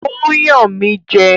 Ó ń yàn mí jẹ